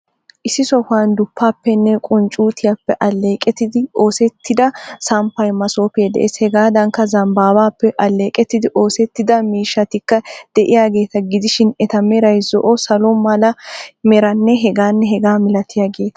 Issi sohuwan duppaappenne qunccuutiyappe alleqettidi oosettida samppay masoofee de'ees. Hegaadankka zambbaappe alleeqqettidi oosettida miishshatikka de'iyaageeta gidishin eta meray zo'o salo mala meranne h.h malatiyageeta.